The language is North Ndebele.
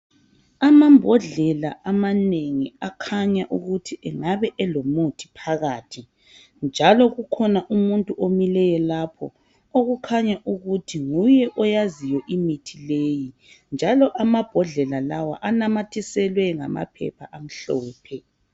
Amambodlela amanengi akhanya ukuthi engabe elomuthi phakathi njalo kukhona umuntu omileyo lapho okukhanya ukuthi nguye oyaziyo imithi leyi njalo amabhodlela lawa anamathiselwe ngamaphepha amhlophe.